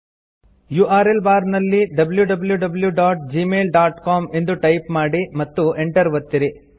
URL bar ನಲ್ಲಿ wwwgmailcom ಎಂದು type ಮಾಡಿ ಮತ್ತು Enter ಒತ್ತಿರಿ